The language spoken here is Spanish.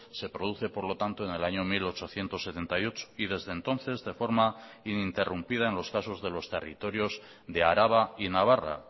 se produce por lo tanto en el año mil ochocientos setenta y ocho y desde entonces de forma ininterrumpida en los casos de los territorios de araba y navarra